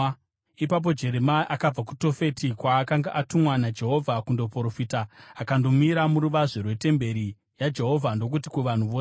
Ipapo Jeremia akabva kuTofeti, kwaakanga atumwa naJehovha kundoprofita, akandomira muruvazhe rwetemberi yaJehovha ndokuti kuvanhu vose,